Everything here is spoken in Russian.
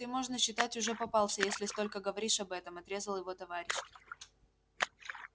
ты можно считать уже попался если столько говоришь об этом отрезал его товарищ